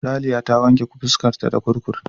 Ralya ta wanke fuskar ta da kurkum.